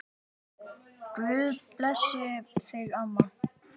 Guð blessi þig, amma.